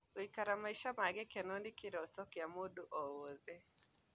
Gũikara maica ma gĩkeno nĩ kĩroto gĩa mũndu o wothe